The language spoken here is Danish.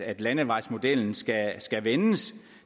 at landevejsmodellen skal skal vendes